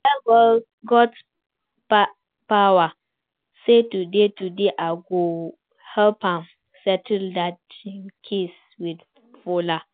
I tell Godspower say today today I go help am settle dat im case with Fola